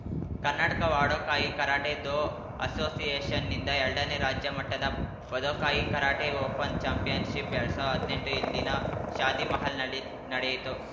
Karnataka Wado Kai karate do ಅಸೋಸಿಯೇಷನ್‌ನಿಂದ ಎಲ್ಡನೇ ರಾಜ್ಯ ಮಟ್ಟದ ವದೋಕಾಯಿ ಕರಾಟೆ ಓಪನ್‌ ಚಾಂಪಿಯನ್‌ಶಿಪ್‌ಎಲ್ಡ್ ಸಾವ್ರ್ದಾ ಹದ್ನೆಂಟು ಇಲ್ಲಿನ ಶಾದಿಮಹಲ್‌ನಲ್ಲಿ ನಡೆಯಿತು